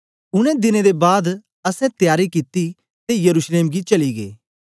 उनै दिने दे बाद असैं त्यारी कित्ती ते यरूशलेम गी चली गै